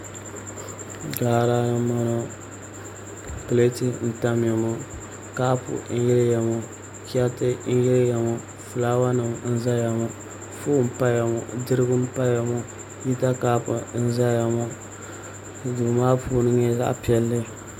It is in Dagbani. Jaara ni n boŋo pileet n tamya ŋo kaap n yiliya ŋo chɛriti n yiliya ŋo fulaawa nim n ʒɛya ŋo foon n paya ŋo dirigu n paya ŋo hita kaap n ʒɛya ŋo duu maa puuni nyɛla zaɣ piɛlli